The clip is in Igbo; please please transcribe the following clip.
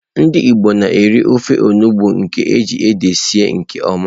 Ndị Igbo na-eri ofe onugbu nke eji ede sie nke oma.